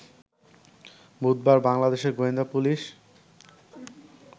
বুধবার বাংলাদেশের গোয়েন্দা পুলিশ